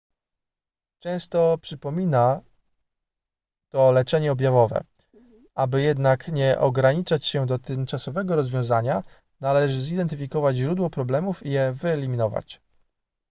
często przypomina to leczenie objawowe aby jednak nie ograniczać się do tymczasowego rozwiązania należy zidentyfikować źródło problemów i je wyeliminować